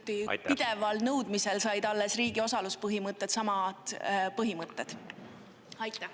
Alles Riina Sikkuti pideval nõudmisel said riigi osalus põhimõtetesse kirja samad põhimõtted.